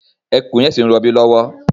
Ẹkùn yẹn ṣi ń robí lọ́wọ́